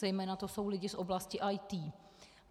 Zejména jsou to lidi z oblasti IT.